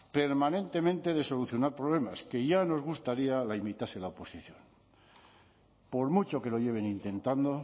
permanentemente de solucionar problemas que ya nos gustaría la imitase la oposición por mucho que lo lleven intentando